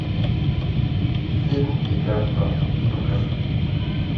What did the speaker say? фильм игра в правду покажи